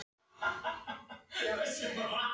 Hann dvelst nú á Hrafnistu í Reykjavík í hárri elli.